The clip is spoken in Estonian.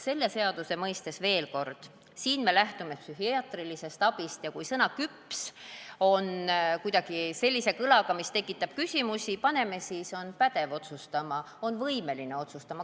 Selle seaduse mõistes, ütlen veel kord, lähtume me psühhiaatrilisest abist ja kui sõna "küps" on sellise kõlaga, mis tekitab küsimusi, siis paneme "on pädev otsustama", "on võimeline otsustama".